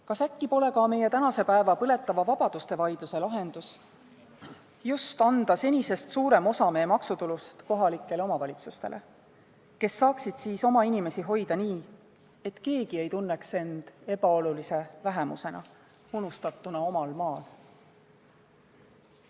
Kas äkki meie tänase päeva põletava vabaduseteemalise vaidluse lahendus ei võiks olla see, et anda senisest suurem osa meie maksutulust kohalikele omavalitsustele, kes saaksid siis oma inimesi hoida nii, et keegi ei tunneks end ebaolulise vähemusena, unustatuna omal maal?